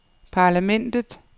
parlamentet